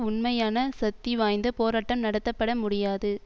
உண்மையான சக்திவாய்ந்த போராட்டம் நடத்தப்பட முடியாது